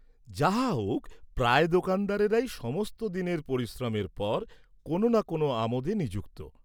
যাহা হউক, প্রায় দোকানদারেরাই সমস্ত দিনের পরিশ্রমের পর, কোন না কোন আমোদে নিযুক্ত।